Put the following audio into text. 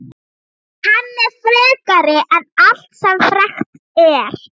Hann er frekari en allt sem frekt er.